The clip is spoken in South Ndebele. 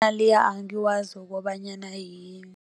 angiwazi ukobanyana yini.